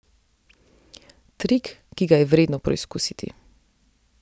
Trik, ki ga je vredno preizkusiti.